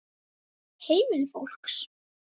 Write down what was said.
Heimili fólks.